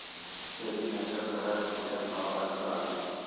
सैफीनाच्या घरात छोट्या नवाबाचं आगमन